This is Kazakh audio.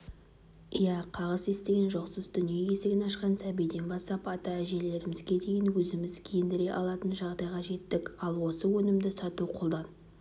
иә қағыс естіген жоқсыз дүние есігін ашқан сәбиден бастап ата-әжелеріміге дейін өзіміз киіндіре алатын жағдайға жеттік ал осы өнімді сату қолдан